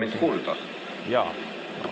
On mind kuulda?